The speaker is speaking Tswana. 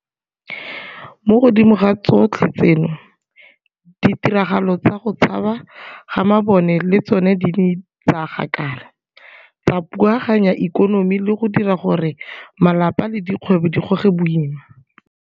Mo godimo ga tsotlhe tseno, ditiragalo tsa go tshaba ga mabone le tsona di ne tsa gakala, tsa phuaganya ikonomi le go dira gore malapa le dikgwebo di goge boima.